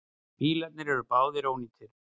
Bílarnir eru báðir ónýtir.